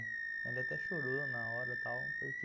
Ele até chorou na hora e tal, porque...